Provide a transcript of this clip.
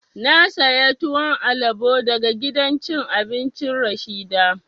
Na saya tuwon alabo daga gidan cin abincin Rashida